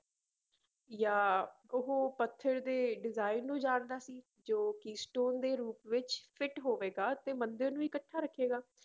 ਜਾਂ ਉਹ ਪੱਥਰ ਦੇ design ਨੂੰ ਜਾਣਦਾ ਸੀ ਜੋ keystone ਦੇ ਰੂਪ ਵਿੱਚ fit ਹੋਵੇਗਾ ਤੇ ਮੰਦਿਰ ਨੂੰ ਇਕੱਠਾ ਰੱਖੇਗਾ।